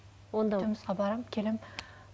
жұмысқа барамын келемін